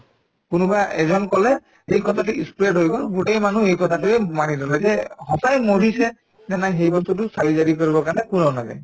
কোনোবা এজন কলে এই কথাটো ই spread হৈ গল গোটেই মানুহ এই কথাটোয়ে মানি ললে এতিয়া সঁচায়ে মৰিছে নে নাই সেই বস্তুতো চাৰিজাৰি কৰিবৰ কাৰণে কোনো নাযায়